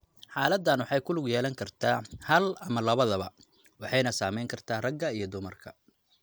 Xaaladdan waxay ku lug yeelan kartaa hal ama labadaba waxayna saameyn kartaa ragga iyo dumarka.